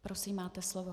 Prosím, máte slovo.